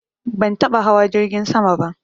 Ban taɓa hawa jirgin sama ba